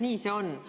Nii see on.